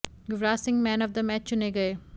Yuvraj Singh man of the match चुने गए